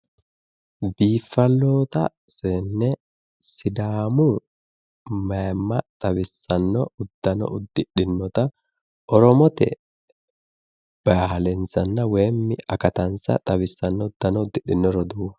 Biiffalloota seenne sidaamu mayimma xawissanno uddano uddidhinota oromote bahiilensa woyi akatansa xawissanno uddano uddidhino roduuwa.